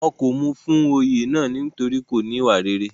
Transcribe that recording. wọn kò mú u fún Oyè náà nítorí kò níwà rere